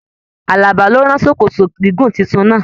Àlàbá ló rán sòkòtò gígùn títún náa